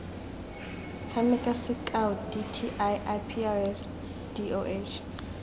tshameka sekao dti iprs doh